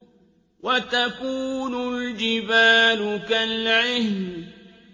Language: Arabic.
وَتَكُونُ الْجِبَالُ كَالْعِهْنِ